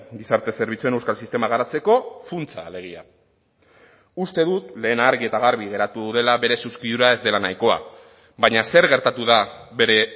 gizarte zerbitzuen euskal sistema garatzeko funtsa alegia uste dut lehen argi eta garbi geratu dela bere zuzkidura ez dela nahikoa baina zer gertatu da bere